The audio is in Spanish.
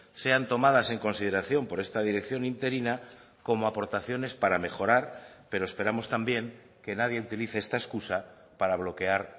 sean tomadas en consideración por esta dirección interina como aportaciones para mejorar pero esperamos también que nadie utilice esta excusa para bloquear